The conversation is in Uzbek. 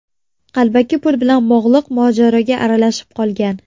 qalbaki pul bilan bog‘liq mojaroga aralashib qolgan.